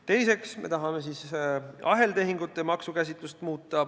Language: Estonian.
Teiseks tahame muuta aheltehingute maksukäsitlust.